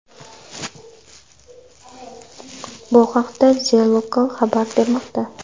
Bu haqda The Local xabar bermoqda .